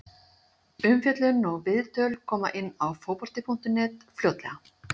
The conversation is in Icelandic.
Umfjöllun og viðtöl koma inn á Fótbolti.net fljótlega.